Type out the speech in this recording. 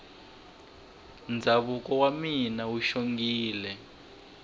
ndhavuko wa mina wu xongile